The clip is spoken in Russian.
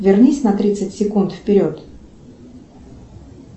вернись на тридцать секунд вперед